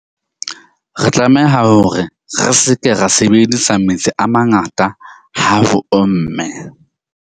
Re tlameha hore re se ke ra sebedisa metsi a mangata ha ho omme.